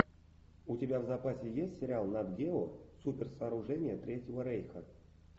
у тебя в запасе есть сериал нат гео суперсооружения третьего рейха